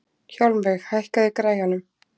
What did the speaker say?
Hjálmveig, hækkaðu í græjunum.